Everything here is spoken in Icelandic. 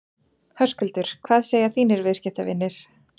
Höskuldur: Hvað segja þínir viðskiptavinir?